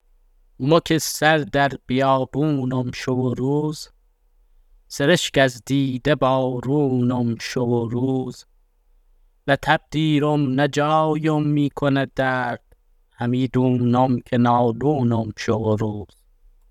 مو که سر در بیابانم شو و روز سرشک از دیده بارانم شو و روز نه تب دیرم نه جایم میکند درد همی دونم که نالونم شو و روز